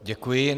Děkuji.